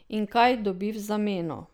In kaj dobi v zameno?